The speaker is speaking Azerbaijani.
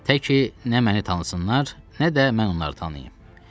Tək ki nə məni tanısınlar, nə də mən onları tanıyım.